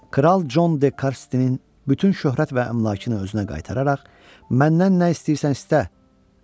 Kral Con De Karsinin bütün şöhrət və əmlakını özünə qaytararaq, məndən nə istəyirsən?